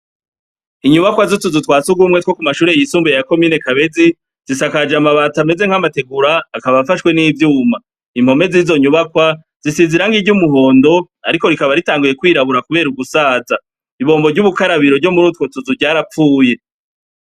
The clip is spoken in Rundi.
Inyubakwa z'utuzu twa surwumwe two ku mashure yisumbuye ya komine Kabezi, zisakaje amabati ameze nk'amategura, akaba afashwe n'ivyuma. Impome z'izo nyubakwa zisize irangi ry'umuhondo, ariko rikaba ritanguye kwirabura kubera ugusaza. Ibombo ry'ubukarabiro ryo muri utwo tuzu, ryarapfuye.